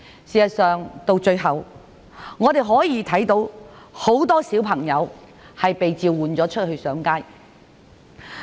事實上，我們最終看到很多小朋友被召喚上街。